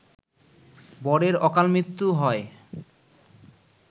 বরের অকালমৃত্যু হয়